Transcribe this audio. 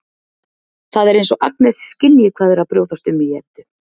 Það er eins og Agnes skynji hvað er að brjótast um í Eddu.